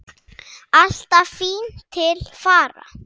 Alltaf fín til fara.